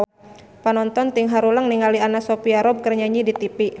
Panonton ting haruleng ningali Anna Sophia Robb keur nyanyi di tipi